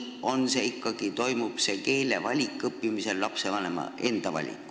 Või valib ikkagi lapsevanem ise selle õppimise keele?